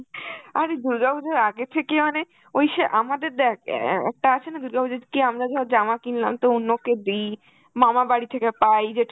আরে দুর্গাপুজোর আগে থেকেই মানে ওই স!~ আমাদের দেখ অ্যাঁ একটা আছে না দুর্গা পুজোতে কি আমরা সব জামা কিনলাম তো অন্যকে দি, মামা বাড়ি থেকে পাই,